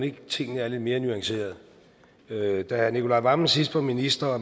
ikke tingene er lidt mere nuancerede da herre nicolai wammen sidst var minister